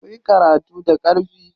Kuyi karatu da ƙarfi.